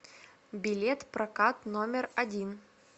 билет прокат номер один